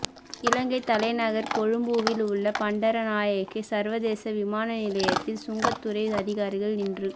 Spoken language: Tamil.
இலங்கை தலைநகர் கொழும்புவில் உள்ள பண்டாரநாயக்கே சர்வதேச விமான நிலையத்தில் சுங்கத்துறை அதிகாரிகள் இன்று